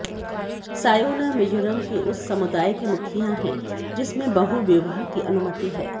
सायोना मिजोरम के उस समुदाय के मुखिया हैं जिसमें बहुविवाह की अनुमति है